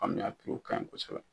an mi a ka ɲi kosɛbɛ.